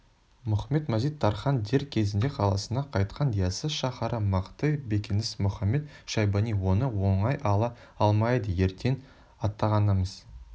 мұхамед-мазит-тархан дер кезінде қаласына қайтқан яссы шаһары мықты бекініс мұхамед-шайбани оны оңай ала алмайды ертең аттанғанымыз